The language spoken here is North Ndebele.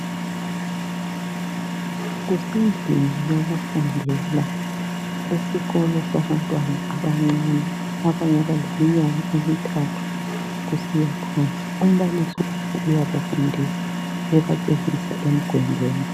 Kusendlini yokufundela esikolo sabantwana abancane abangakadluli iminyaka emithathu kusiya phansi. Umbalisi uyabafundisa ebatshengisa emgwembeni.